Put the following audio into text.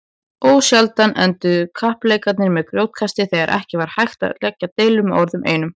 Ósjaldan enduðu kappleikirnir með grjótkasti þegar ekki var hægt að lægja deilur með orðunum einum.